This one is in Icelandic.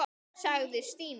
sagði Stína.